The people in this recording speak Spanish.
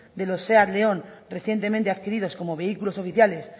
de los seat león recientemente adquiridos como vehículos oficiales